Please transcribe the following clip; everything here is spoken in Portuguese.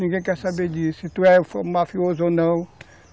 Ninguém quer saber disso, se tu é mafioso ou não.